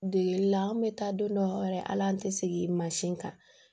Degeli la an bɛ taa don dɔw yɛrɛ ala an tɛ sigi mansin kan